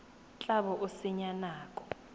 tla bo o senya nako